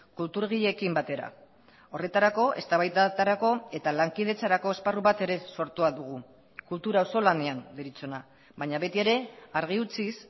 kulturgileekin batera horretarako eztabaidetarako eta lankidetzarako esparru bat ere sortua dugu kultura auzolanean deritzona baina beti ere argi utziz